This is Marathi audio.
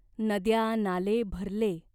नद्या नाले भरले.